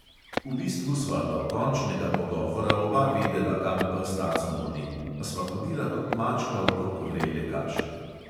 V bistvu sva do končnega pogovora oba vedela, kam pes taco moli, a sva hodila kot mačka okrog vrele kaše.